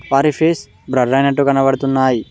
వారి face blur అయినట్టు కనబడుతున్నాయి.